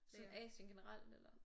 Sådan Asien generelt eller?